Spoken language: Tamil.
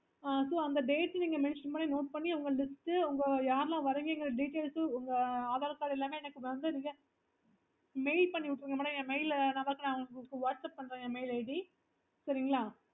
அது அந்த date நீங்க mention பண்ணி note பண்ணி first யாரெல்லா வாறீங்கன்ற details உங்க aadhaar card எல்லாமே எனக்கு mail பண்ணி விட்ருங்க madam நான் whatsapp பண்றேன் என் mail id சரிங்களா